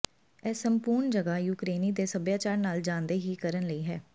ਇਹ ਸੰਪੂਰਣ ਜਗ੍ਹਾ ਯੂਕਰੇਨੀ ਦੇ ਸਭਿਆਚਾਰ ਨਾਲ ਜਾਣਦੇ ਹੀ ਕਰਨ ਲਈ ਹੈ